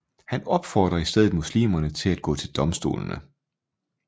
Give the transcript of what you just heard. Han opfordrer i stedet muslimerne til at gå til domstolene